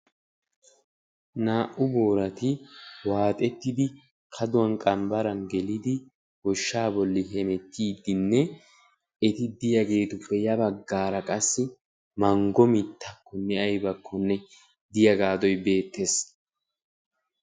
Naa"u boorati waaxettidi kaduwaan qambbaran gelidi goshshaa bolli hemettiidinne eti diyaagetupe ya baggara qassi manggo mittakonne aybakonne de'iyaagadoy beettees.